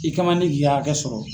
I kɛ man di k'i ka hakɛ sɔrɔ.